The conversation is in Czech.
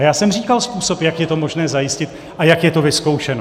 A já jsem říkal způsob, jak je to možné zajistit a jak je to vyzkoušeno.